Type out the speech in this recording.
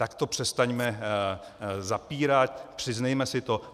Tak to přestaňme zapírat, přiznejme si to.